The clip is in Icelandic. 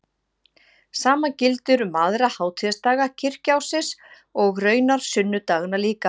Sama gildir um aðra hátíðisdaga kirkjuársins og raunar sunnudagana líka.